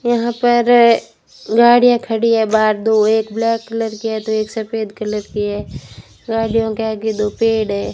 यहां पर गाड़ियां खड़ी है बाहर दो एक ब्लैक कलर किया तो एक सफेद कलर की है गाड़ियों के आगे दो पेड़ है।